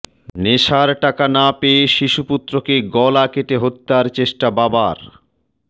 নেশার টাকা না পেয়ে শিশুপুত্রকে গলা কেটে হত্যার চেষ্টা বাবার